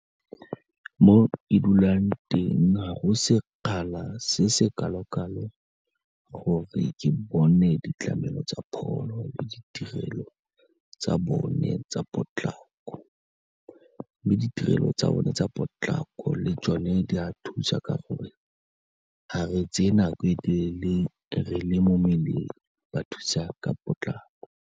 Mo ke dulang teng ga go sekgakala se se kalo-kalo gore ke bone ditlamelo tsa pholo le ditirelo tsa bone tsa potlako, mme ditirelo tsa bone tsa potlako le tsone di a thusa ka gore ga re tseye nako e telele re le mo mmeleng ba thusa ka potlako.